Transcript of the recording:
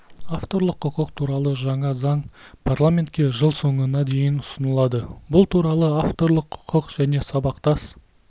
авторлық құқық туралы жаңа заң парламентке жыл соңына дейін ұсынылады бұл туралы авторлық құқық және сабақтас